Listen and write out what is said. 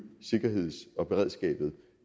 sikkerheden og beredskabet